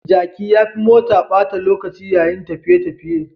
Jaki ya fi mota ɓata lokaci yayin tafiye-tafiye.